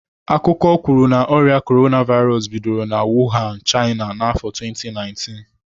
Akụkọ kwuru na ọrịa Korona vairos bidoro na Wuhan, China n'afọ 2019.